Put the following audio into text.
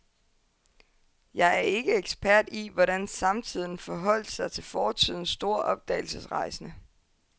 Jeg er ikke ekspert i, hvordan samtiden forholdt sig til fortidens store opdagelsesrejsende.